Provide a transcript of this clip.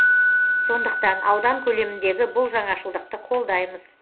сондықтан аудан көлеміндегі бұл жаңашылдықты қолдаймыз